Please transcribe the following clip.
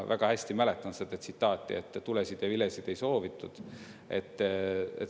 Väga hästi mäletan seda tsitaati, et tulesid ja vilesid ei soovitud.